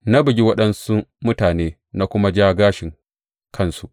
Na bugi waɗansu mutane na kuma ja gashin kansu.